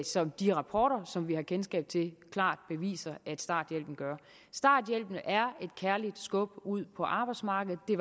som de rapporter som vi har kendskab til klart beviser starthjælpen gør starthjælpen er et kærligt skub ud på arbejdsmarkedet det